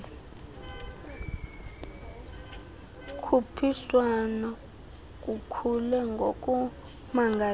khuphiswan kukhule ngokumangalisayo